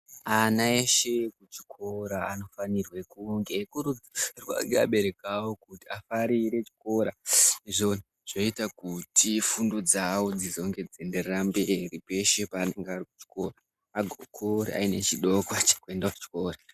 Ana eshe ekuchikora ,anofanirwe kunge eikurudzirwa ngeabereki avo kuti afarire chikora izvo zvinoita kuti fundo dzavo dzizonge dzeinderera mberi ,peshe paanonga ari kuchikora, agokura aine chidokwa chekuenda kuchikora.